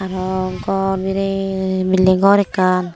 aro ghar bired buliding ghar ekkan.